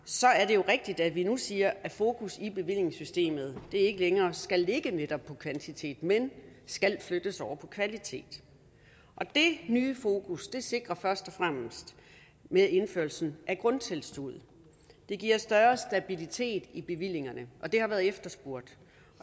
jo rigtigt at vi nu siger at fokus i bevillingssystemet ikke længere skal ligge netop på kvantitet men skal flyttes over på kvalitet det nye fokus sikres først og fremmest med indførelsen af grundtilskuddet det giver større stabilitet i bevillingerne og det har været efterspurgt